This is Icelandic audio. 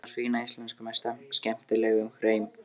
Hún talar fína íslensku með skemmtilegum hreim.